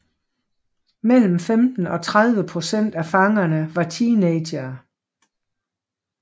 Mellem 15 og 30 procent af fangerne var teenagere